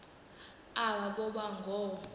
aba boba ngoo